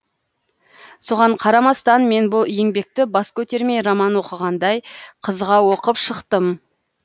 соған қарамастан мен бұл еңбекті бас көтермей роман оқығандай қызыға оқып шықтым